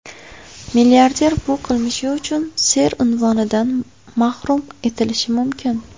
Milliarder bu qilmishi uchun ser unvonidan mahrum etilishi mumkin.